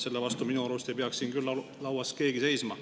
Selle vastu minu arust ei peaks siin keegi seisma.